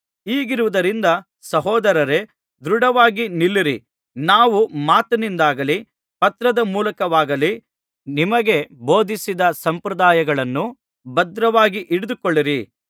ಹೀಗಿರುವುದರಿಂದ ಸಹೋದರರೇ ದೃಢವಾಗಿ ನಿಲ್ಲಿರಿ ನಾವು ಮಾತಿನಿಂದಾಗಲಿ ಪತ್ರದ ಮೂಲಕವಾಗಲಿ ನಿಮಗೆ ಬೋಧಿಸಿದ ಸಂಪ್ರದಾಯಗಳನ್ನು ಭದ್ರವಾಗಿ ಹಿಡಿದುಕೊಂಡಿರಿ